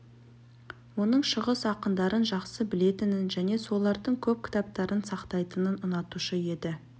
оның шығыс ақындарын жақсы білетінін және солардың көп кітаптарын сақтайтынын ұнатушы еді